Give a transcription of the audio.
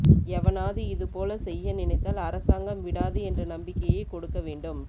எவனாவது இதுபோல செய்ய நினைத்தால் அரசாங்கம் விடாது என்ற நம்பிக்கையை கொடுக்க வேண்டும்